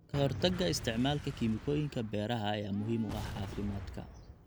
Ka hortagga isticmaalka kiimikooyinka beeraha ayaa muhiim u ah caafimaadka.